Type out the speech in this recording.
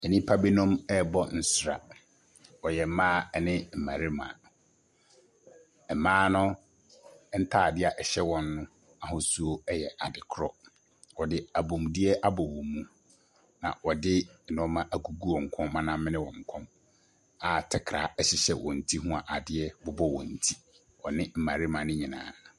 Nnipa binom ɛrebɔ nsra. Wɔyɛ mmaa ne mmarima. Mmaa no ntaadeɛ a ɛhyɛ awɔn no ahosuo yɛ korɔ. Wɔde abɔmudeɛ abɔ wɔn mu a wɔde nneɛma agugu wɔn kɔn ma namene wɔn kɔn a takra ɛhyehyɛ a wɔn ti ho a ade bobɔ wɔn ti. Wɔne mmarima ne nyinaa.